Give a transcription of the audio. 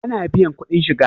ana biyan kuɗin shiga?